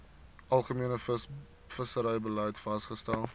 algemene visserybeleid vasgestel